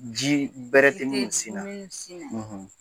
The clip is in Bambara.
Ji bɛrɛ tɛ ninnu sin na